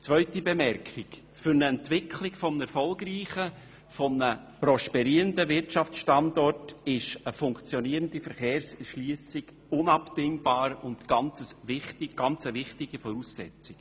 Zu meiner zweiten Bemerkung: Für die Entwicklung eines erfolgreichen, prosperierenden Wirtschaftsstandorts ist eine funktionierende Verkehrserschliessung unabdingbar und eine äusserst wichtige Voraussetzung.